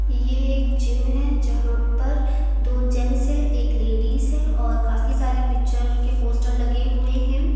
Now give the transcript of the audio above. ये एक जिम है जहां पर दो जेंस है एक लेडिस है और काफी सारी पिक्चर के पोस्टर लगे हुए हैं।